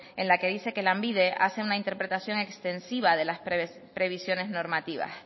en la que dice que lanbide hace una interpretación extensiva de las previsiones normativas